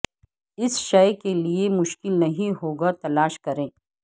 اس شے کے لئے مشکل نہیں ہوگا تلاش کریں